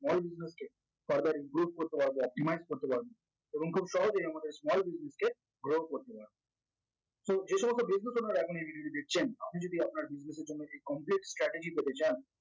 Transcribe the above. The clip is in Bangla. small business হচ্ছে further recruit করতে পারবে optimise করতে পারবে এবং খুব সহজেই আমাদের small business কে grow করতে পারবে তো এসমস্ত debut এ তোমার availability দেখছেন আপনি যদি আপনার দুর্গতির জন্য complete strategic হতে চান